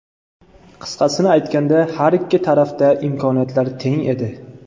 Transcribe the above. Qisqasini aytganda, har ikki tarafda imkoniyatlar teng edi.